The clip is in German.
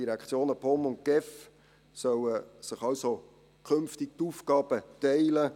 Die Direktionen POM und GEF sollen sich also künftig die Aufgaben teilen.